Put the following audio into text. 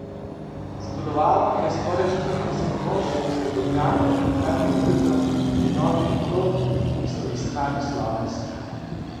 Sodelovalo je skoraj štirideset mož, svobodnjakov in klativitezov in novih oprod, ki so iskali sloves.